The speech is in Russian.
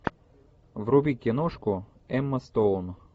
вруби киношку эмма стоун